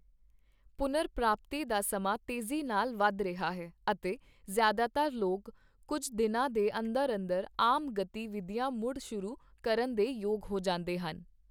ਪੁਨਰ ਪ੍ਰਪਾਤੀ ਦਾ ਸਮਾਂ ਤੇਜ਼ੀ ਨਾਲ ਵੱਧ ਰਿਹਾ ਹੈ ਅਤੇ ਜ਼ਿਆਦਾਤਰ ਲੋਕ ਕੁੱਝ ਦਿਨਾਂ ਦੇ ਅੰਦਰ-ਅੰਦਰ ਆਮ ਗਤੀ ਵਿਧੀਆਂ ਮੁੜ ਸ਼ੁਰੂ ਕਰਨ ਦੇ ਯੋਗ ਹੋ ਜਾਂਦੇ ਹਨ।